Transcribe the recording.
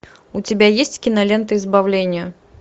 у тебя есть кинолента избавление